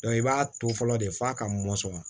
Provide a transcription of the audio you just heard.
i b'a to fɔlɔ de f'a ka mɔsɔn